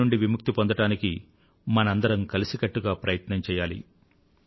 B నుండి విముక్తిని పొందడానికి మనందరమూ కలసికట్టుగా ప్రయత్నం చెయ్యాలి